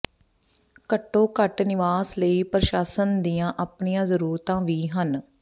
ਘੱਟੋ ਘੱਟ ਨਿਵਾਸ ਲਈ ਪ੍ਰਸ਼ਾਸਨ ਦੀਆਂ ਆਪਣੀਆਂ ਜ਼ਰੂਰਤਾਂ ਵੀ ਹਨ